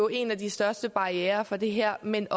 en af de største barrierer for det her men